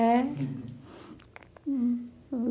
É? Hm.